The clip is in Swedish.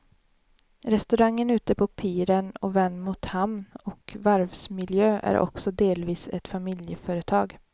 Restaurangen ute på piren och vänd mot hamn och varvsmiljö är också delvis ett familjeföretag.